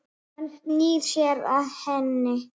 Hann snýr sér að henni.